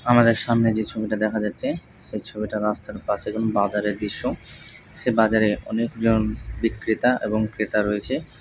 আমাদের সামনে যে ছবিটা দেখা যাচ্ছে সেই ছবিটা রাস্তার পাশে কোন বাজারের দৃশ্য সে বাজারে অনেকজন বিক্রেতা এবং ক্রেতা রয়েছে।